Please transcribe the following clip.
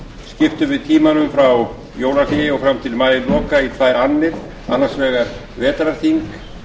skiptum við tímanum frá jólahléi og fram til maíloka í tvær annir annars vegar vetrarþing